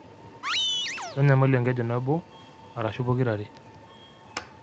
Kenyamalu enkeju nabo arashuu pokirare.